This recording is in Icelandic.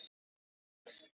Um dans